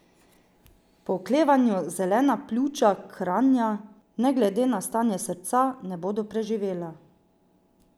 Ob oklevanju zelena pljuča Kranja, ne glede na stanje srca, ne bodo preživela.